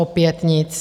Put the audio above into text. Opět nic.